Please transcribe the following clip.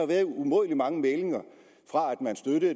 været umådelig mange meldinger